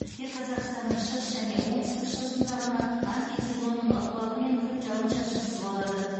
тек қазақстанның шығыс және оңтүстік шығысында ғана антициклонның ықпалымен күн жауын шашынсыз болады